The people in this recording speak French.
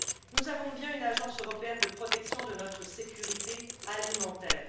Nous avons bien une agence européenne de protection de notre sécurité alimentaire.